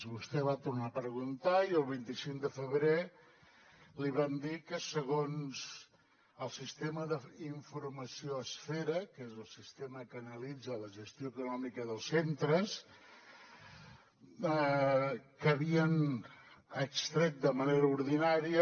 vostè va tornar a preguntar i el vint cinc de febrer li vam dir que segons el sistema d’informació esfera que és el sistema que analitza la gestió econòmica dels centres que havien extret de manera ordinària